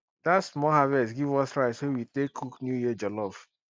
that small harvest give us rice wey we use tay cook new year jollof